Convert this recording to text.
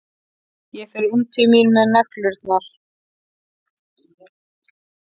Ég fer inn til mín með neglurnar.